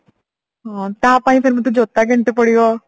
ହଁ ତାପାଇଁ ସେମିତି ଜୋତା କିଣିତେ ପଡିବ